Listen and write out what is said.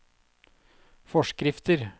forskrifter